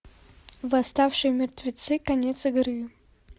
восставшие мертвецы конец игры